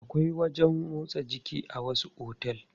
Akwai wajen motsa jiki a wasu otel.